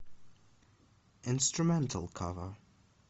инструментал кавер